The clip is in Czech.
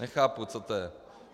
Nechápu, co to je.